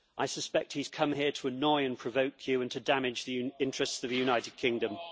I suspect that he has come here to annoy and provoke you and to damage the interests of the United Kingdom.